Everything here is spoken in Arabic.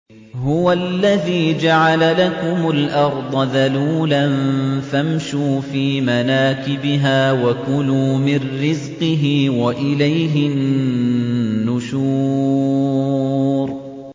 هُوَ الَّذِي جَعَلَ لَكُمُ الْأَرْضَ ذَلُولًا فَامْشُوا فِي مَنَاكِبِهَا وَكُلُوا مِن رِّزْقِهِ ۖ وَإِلَيْهِ النُّشُورُ